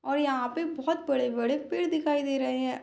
और यहाँ पे बहुत बड़े-बड़े पेड़ दिखाई दे रहे हैं।